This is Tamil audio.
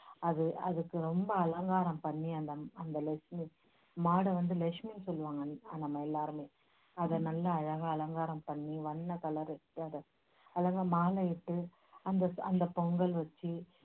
அது அதுக்கு ரொம்ப அலங்காரம் பண்ணி அந்த அந்த லஷ்மி மாட வந்து லஷ்மின்னு சொல்லுவாங்க நம்ம எல்லாருமே அதை நல்லா அழகா அலங்காரம் பண்ணி வண்ண colour மாலையிட்டு அந்த அந்தப் பொங்கல் வச்சி